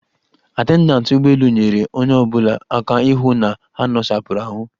Atendantị ụgbọelu nyeere onye ọbụla aka ịhụ na ha nosapụrụ ahụ.